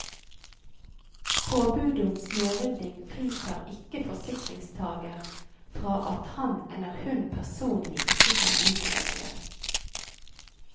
Påbudet om snørydding fritar ikke forsikringstager fra at han eller hun personlig ikke kan utføre den.